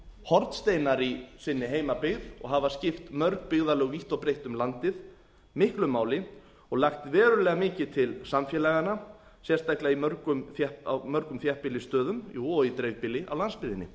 hornsteinar í sinni heimabyggð og hafa skipt mörg byggðarlög vítt og breitt um landið miklu máli og lagt verulega mikið til samfélaganna sérstaklega á mörgum þéttbýlisstöðum og í dreifbýli á landsbyggðinni